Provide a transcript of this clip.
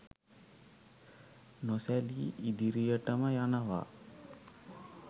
නොසැලී ඉදිරියටම යනවා.